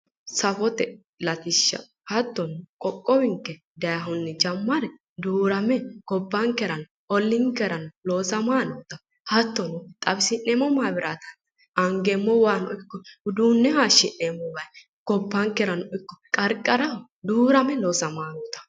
Safote latishsha hattono qoqqowinke dayihunni jammare duurame gobbankerano olliinkerano loosamayi noota hattono xawisi'neemmo maabiraate angeemmo waano ikko uduunne hayshi'neemmo wayi gobbankerano ikko qarqaraho duurame loosamayi noota